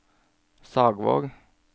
Sagvåg